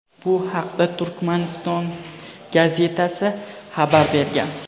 Bu haqda "Turkmaniston" gazetasi xabar bergan.